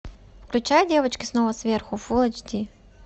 включай девочки снова сверху фул эйч ди